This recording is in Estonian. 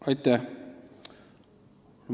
Aitäh!